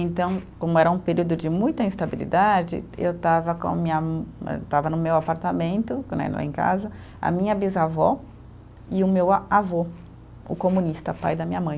Então, como era um período de muita instabilidade, eu estava com a minha eh, estava no meu apartamento né, em casa, a minha bisavó e o meu a avô, o comunista, pai da minha mãe.